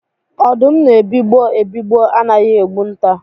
Ọdụm na-ebigbọ ebigbọ anaghị egbu nta.